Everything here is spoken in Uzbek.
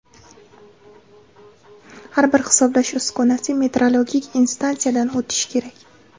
Har bir hisoblash uskunasi metrologik instansiyadan o‘tishi kerak.